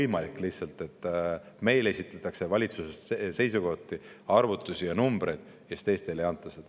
Ei ole lihtsalt võimalik, et meile esitatakse valitsuses seisukohti, arvutusi ja numbreid, aga teistele neid ei anta.